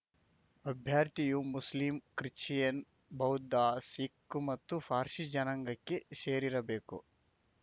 ಅಭ್ಯರ್ಥಿಯು Muslim Christian ಬೌದ್ಧ ಸಿಖ್‌ ಮತ್ತು ಪಾರ್ಸಿ ಜನಾಂಗಕ್ಕೆ ಸೇರಿರಬೇಕು